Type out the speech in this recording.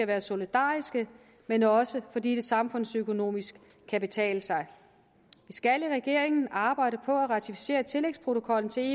være solidariske men også fordi det samfundsøkonomisk kan betale sig vi skal i regeringen arbejde på at ratificere tillægsprotokollen til